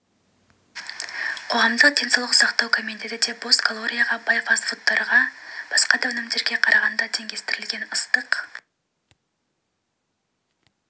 қоғамдық денсаулық сақтау комитеті де бос калорияға бай фастфудтарға және басқа да өнімдерге қарағанда теңдестірілген ыстық